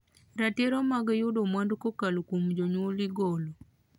Ratiro mag yudo mwandu kokalo kuom jonyuol igolo.